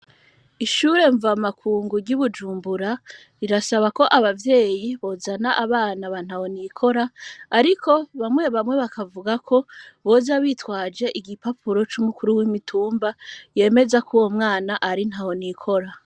Ishure mva makungu ry'ubujumbura rirasaba ko abavyeyi bozana abana bantaho nikora, ariko bamwe bamwe bakavuga ko boza bitwaje igipapuro c'umukuru w'imitumba yemeza ko uwo mwana ari nta wonikora.